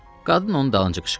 Qadın onun dalınca qışqırdı.